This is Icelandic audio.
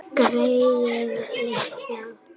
Greyið litla!